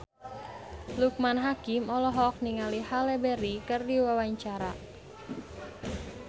Loekman Hakim olohok ningali Halle Berry keur diwawancara